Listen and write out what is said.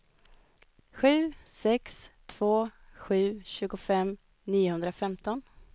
sju sex två sju tjugofem niohundrafemton